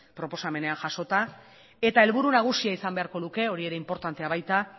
proposamenean jasota eta helburu nagusia izan beharko luke hori ere inportantea baita